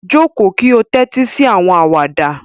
Joko ki o tẹtisi awọn awada